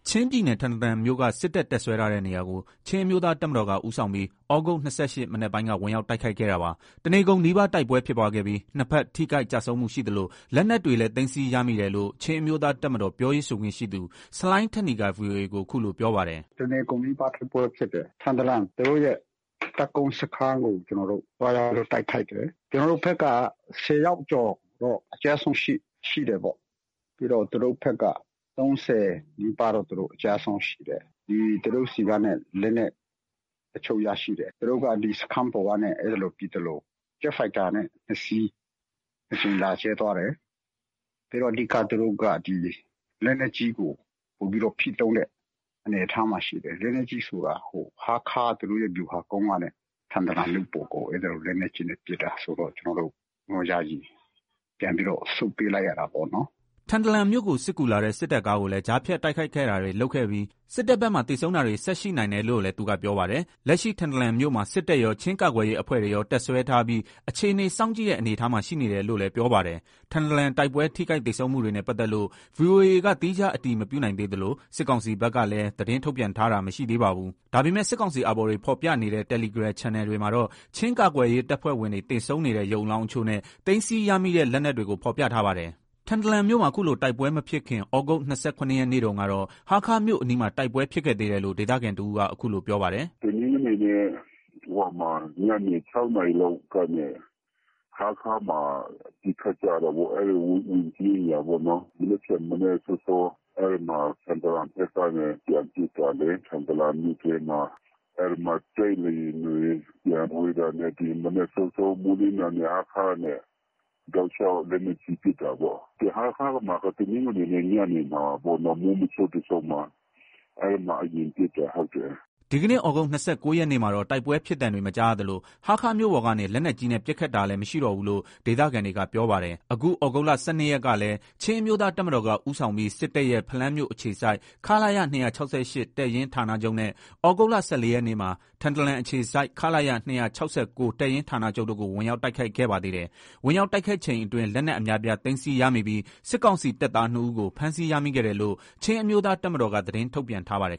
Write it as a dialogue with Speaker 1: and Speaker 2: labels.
Speaker 1: ချင်းပြည်နယ် ထန်တလန်မြို့က စစ်တပ်တပ်စွဲထားတဲ့ နေရာကို ချင်းအမျိုးသားတပ်မတော်က ဦးဆောင်ပြီး သြဂုတ် ၂၈ ရက် မနက်ပိုင်းက ဝင်ရောက် တိုက်ခိုက်ခဲ့တာပါ။ တနေကုန်နီးပါး တိုက်ပွဲဖြစ်ပွားခဲ့ပြီး နှစ်ဘက် ထိခိုက် ကျဆုံးမှုရှိသလို လက်နက်တွေလည်း သိမ်းဆည်း ရမိတယ်လို့ ချင်းအမျိုးသား တပ်မတော် ပြောရေးဆိုခွင့်ရှိသူ ဆလိုင်းထက်နီက ဗွီအိုအေကို အခုလို ပြောပါတယ်။
Speaker 2: “တနေကုန်နီးပါး တိုက်ပွဲဖြစ်တယ်။ ထန်တလန် သူတို့ရဲ့ တပ်ကုန်းစခန်းကို သွားပြီးတော့ တိုက်ခိုက်တယ်။ ကျွန်တော်တို့ဘက်က ၁၀ ယောက်ကျော် အကျအဆုံး ရှိတယ်။ သူတို့ဘက်က ၃၀ နီးပါး အကျအဆုံးရှိတယ်။ သူတို့ဆီက လက်နက်အချို့ရရှိတယ်။ သူတို့က စခန်းပေါ်ကနေ ပစ်သလို ဂျက်ဖိုက်တာ ၂ စီးနဲ့ ၂ ကြိမ် လာကြဲသွားတယ်။ ပြီးတော့ သူတို့က လက်နက်ကြီးကို ပိုပြီးတော့ ဖိသုံးတဲ့ အနေအထားမှာ ရှိတယ်။ လက်နက်ကြီးဆိုတာ ဟားခါး၊ သူတို့ရဲ့ ဗျူဟာကုန်းကနေ ထန်တလန်မြို့ပေါ်ကို လက်နက်ကြီးနဲ့ ပစ်တာဆိုတော့ ကျနော်တို့ ယာယီပြန်ပြီး ဆုတ်ပေးလိုက် ရတာပေါ့နော်။”
Speaker 1: ထန်တလန်မြို့ကို စစ်ကူလာတဲ့ စစ်တပ်ကားတွေကိုလည်း ကြားဖြတ် တိုက်ခိုက်တာတွေ လုပ်ခဲ့ပြီး စစ်တပ်ဘက်မှာ သေဆုံးတာတွေ ဆက်ရှိနိုင်တယ်လို့လည်း သူက ပြောပါတယ်။ လက်ရှိ ထန်တလန်မြို့ထဲမှာ စစ်တပ်ရော၊ ချင်းကာကွယ်ရေး အဖွဲ့တွေရော တပ်စွဲထားပြီး အခြေအနေ စောင့်ကြည့်တဲ့ အနေအထားမှာ ရှိနေတယ်လို့လည်း ပြောပါတယ်။ ထန်တလန်တိုက်ပွဲ ထိခိုက်သေဆုံးမှုတွေနဲ့ ပတ်သက်လို့ ဗွီအိုအေက သီးခြား အတည်မပြုနိုင်သေးသလို စစ်ကောင်စီဘက်က သတင်းထုတ်ပြန်တာလည်း မရှိသေးပါဘူး။ ဒါပေမဲ့ စစ်ကောင်စီ အာဘော်တွေဖော်ပြနေတဲ့ တယ်လီဂရမ် ချန်နယ်တွေမှာတော့ ချင်းကာကွယ်ရေး တပ်ဖွဲ့ဝင်တွေ သေဆုံးနေတဲ့ ရုပ်အလောင်းအချို့နဲ့ သိမ်းဆည်းရမိတဲ့ လက်နက်တွေကို ဖော်ပြထားပါတယ်။ ထန်တလန်မြို့မှာ ခုလို တိုက်ပွဲမဖြစ်ခင် သြဂုတ် ၂၇ ရက်နေ့တုန်းကတော့ ဟားခါးမြို့အနီးမှာ တိုက်ပွဲ ဖြစ်ခဲ့သေးတယ်လို့ ဒေသခံတဦးက အခုလို ပြောပါတယ်။
Speaker 3: “(သြဂုတ် ၂၆ ရက်) တနင်္ဂနွေနေ့ ညနေ ၆ နာရီလောက်ကနေ ဟားခါးမှာ ပစ်ခတ်ကြတာပေါ့။ ဝန်ကြီးအိမ်ယာပေါ့နော်။ နောက်တနေ့ မနက် စောစော ကတော့ ထန်တလန်ဘက်ကနေ ပြန်ပစ်ကြတယ်။ ထန်တလန်မြို့ထဲမှာ အဲ့မှာ တိုက်လေယာဉ်တွေ ပျံဝဲတာနဲ့ မနက်စောစော မိုးလင်းတာနဲ့ ဟားခါးကနေ တောက်လျှောက် လက်နက်ကြီး ပစ်တာပေါ့။ ဟားခါးမှာ တနင်္ဂနွေ မိုးမချုပ်ခင်လေးမှာ အရင်ပစ်ခတ်တာ။
Speaker 1: ” ဒီကနေ့ သြဂုတ် ၂၉ ရက်မှာတော့ တိုက်ပွဲဖြစ်သံတွေ မကြားရသလို၊ ဟားခါးမြို့ပေါ်ကနေ လက်နက်ကြီးနဲ့ ပစ်ခတ်တာလည်း မရှိတော့ဘူးလို့ ဒေသခံတွေက ပြောပါတယ်။ အခု သြဂုတ်လ ၁၂ ရက် ကလည်း ချင်းအမျိုးသား တပ်မတော်က ဦးဆောင်ပြီး စစ်တပ်ရဲ့ ဖလမ်းမြို့ အခြေစိုက် ခလရ တပ်ရင်း ဌာနချုပ်နဲ့ သြဂုတ်လ ၁၄ ရက်မှာ ထန်တလန်အခြေစိုက် ခလရ တပ်ရင်းဌာနချုပ်တို့ကို ဝင်ရောက် တိုက်ခိုက်ခဲ့ပါသေးတယ်။ ဝင်ရောက် တိုက်ခိုက်ချိန်အတွင်း လက်နက် အများအပြား သိမ်းဆည်းရမိပြီး စစ်ကောင်စီတပ်သား ၂ ဦးကို ဖမ်းဆီးရမိခဲ့တယ်လို့ ချင်းအမျိုးသားတပ်မတော်က သတင်းထုတ်ပြန်ထားပါတယ်